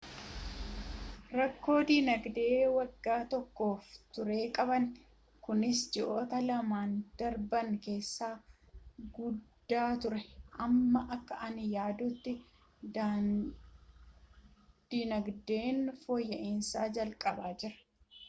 rakkoo dinagdee waggaa tokkoof ture qabna kunis ji'oota lamaan darban keessa guddaa ture amma akka ani yaadutti dinagdeen fooyya'iinsa jalqabaa jira